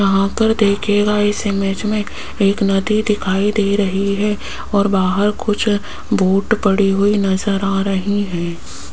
यहां पर देखिएगा इस इमेज में एक नदी दिखाई दे रही है और बाहर कुछ बोट पड़ी हुई नजर आ रही है।